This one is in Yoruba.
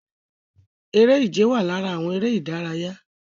Eré ìje wà lára àwọn eré ìdárayá